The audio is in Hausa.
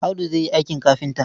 Audu zai yi aikin kafinta.